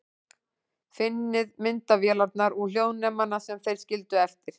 Finnið myndavélarnar og hljóðnemana sem þeir skildu eftir.